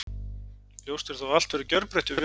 Ljóst er þó að allt verður gjörbreytt hjá félaginu.